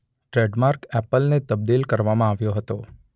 Trademark એપલને તબદિલ કરવામાં આવ્યો હતો.